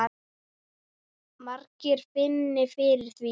Margir finni fyrir því.